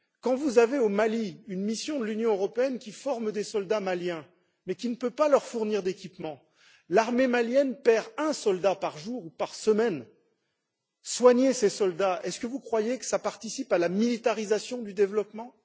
Au Mali, quand vous avez une mission de l'Union européenne qui forme des soldats maliens, mais qui ne peut pas leur fournir d'équipements l'armée malienne perd un soldat par jour ou par semaine soigner ces soldats, croyez vous que ça participe à la militarisation du développement?